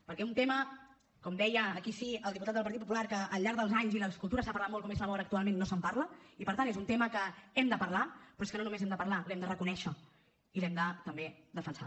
perquè un tema com deia aquí sí el diputat del partit popular que al llarg dels anys i les cultures s’ha parlat molt com és la mort actualment no se’n parla i per tant és un tema que hem de parlar però és que no només hem de parlar l’hem de reconèixer i l’hem de també defensar